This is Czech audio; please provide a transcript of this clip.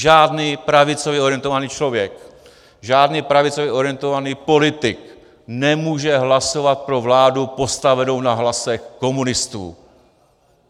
Žádný pravicově orientovaný člověk, žádný pravicově orientovaný politik nemůže hlasovat pro vládu postavenou na hlasech komunistů.